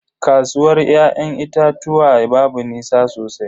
Kasuwar ya'yan itatuwan babu nisa sosai.